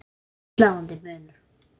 Það er sláandi munur.